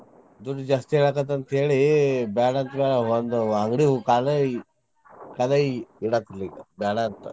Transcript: ದುಡ್ಡ್ ಜಾಸ್ತಿ ಹೇಳಾಕತ್ತ ಅಂತೇಳಿ ಬ್ಯಾಡ ಅಂದ ಒಂದ್ ಅಂಗ್ಡಿ ಕಾಲ್ ಕಾಲೇ ಇಡಾಕ್ ಬ್ಯಾಡ ಅಂತಾನ್.